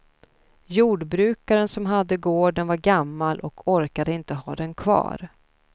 Jordbrukaren som hade gården var gammal och orkade inte ha den kvar.